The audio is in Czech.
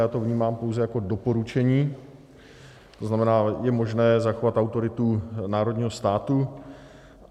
Já to vnímám pouze jako doporučení, to znamená, je možné zachovat autoritu národního státu.